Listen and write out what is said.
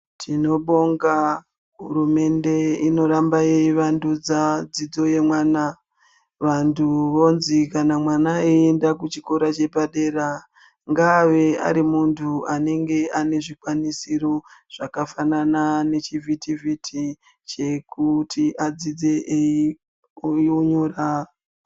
Tino bonga hurumende inoramba yei vandudza dzidzo ye mwana vantu vonzi kana mwana eyi enda ku chikora chepadera ngaave ari muntu anenge ane zvikwanisiro zvakafanana nechi vhiti vhiti chekuti adzidze eyi kuhunyura.